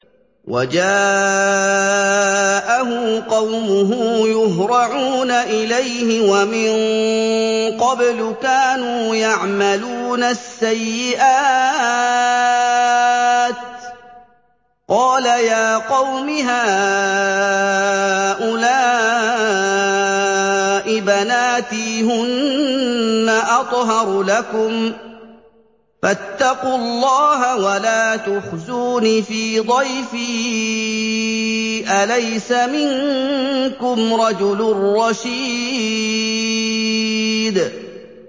وَجَاءَهُ قَوْمُهُ يُهْرَعُونَ إِلَيْهِ وَمِن قَبْلُ كَانُوا يَعْمَلُونَ السَّيِّئَاتِ ۚ قَالَ يَا قَوْمِ هَٰؤُلَاءِ بَنَاتِي هُنَّ أَطْهَرُ لَكُمْ ۖ فَاتَّقُوا اللَّهَ وَلَا تُخْزُونِ فِي ضَيْفِي ۖ أَلَيْسَ مِنكُمْ رَجُلٌ رَّشِيدٌ